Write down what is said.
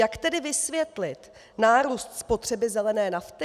Jak tedy vysvětlit nárůst spotřeby zelené nafty?